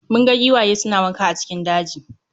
Mun ga giwaye suna wanka a cikin daji